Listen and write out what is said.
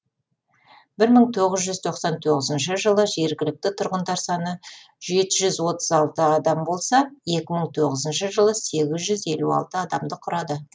мың тоғыз жүз тоқсан тоғыз жылы жергілікті тұрғындар саны жеті жүз отыз алты адам болса екі мың тоғызыншы жылы сегіз жүз елу алты адамды құрады